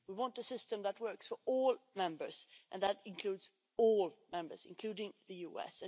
We want a system that works for all members, and that includes all members, including the US.